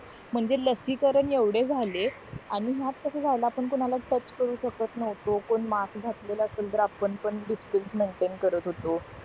म्हणजे लसीकरण एवढे झाले आणि ह्यात कस झाला आपण कोणाला टच करू शकत नव्हतो कोण मास्क घातलेला असेल तर आपण पण डिस्टंन्स मेनटेन करत होतो